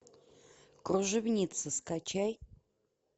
кружевница скачай